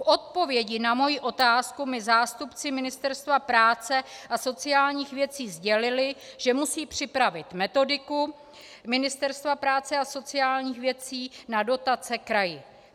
V odpovědi na moji otázku mi zástupci Ministerstva práce a sociálních věcí sdělili, že musí připravit metodiku Ministerstva práce a sociálních věcí na dotace kraji.